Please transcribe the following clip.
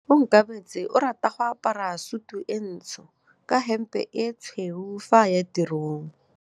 Onkabetse o rata go apara sutu e ntsho ka hempe e tshweu fa a ya tirong.